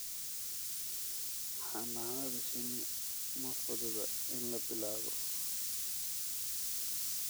Xannaanada shinni ma fududa in la bilaabo.